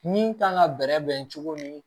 Min kan ka bɛrɛ bɛn cogo min